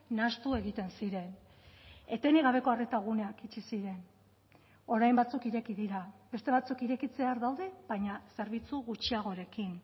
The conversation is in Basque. nahastu egiten ziren etenik gabeko arreta guneak itxi ziren orain batzuk ireki dira beste batzuk irekitzear daude baina zerbitzu gutxiagorekin